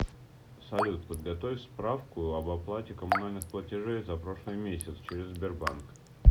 салют подготовь справку об оплате коммунальных платежей за прошлый месяц через сбербанк